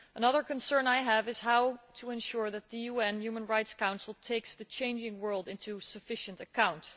Another concern I have is how to ensure that the UN Human Rights Council takes the changing world sufficiently into account.